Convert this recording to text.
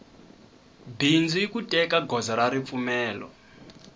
bindzu iku teka goza ra ripfumelo